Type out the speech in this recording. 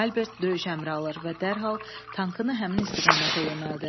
Albert döyüş əmri alır və dərhal tankını həmin istiqamətə yönəldir.